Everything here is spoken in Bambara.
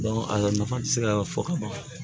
a nafa ti se ka fɔ ka ban